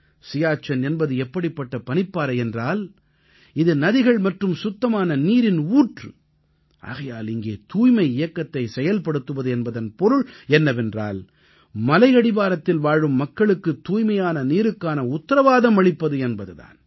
சியாச்சென் என்பது எப்படிப்பட்ட பனிப்பாறை என்றால் இது நதிகள் மற்றும் சுத்தமான நீரின் ஊற்று ஆகையால் இங்கே தூய்மை இயக்கத்தை செயல்படுத்துவது என்பதன் பொருள் என்னவென்றால் மலையடிவாரத்தில் வாழும் மக்களுக்கு தூய்மையான நீருக்கான உத்திரவாதம் அளிப்பது என்பது தான்